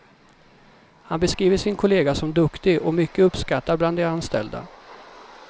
Han beskriver sin kollega som duktig och mycket uppskattad bland de anställda.